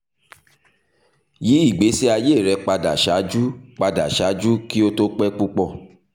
yi igbesi aye rẹ pada ṣaaju pada ṣaaju ki o to pẹ pupọ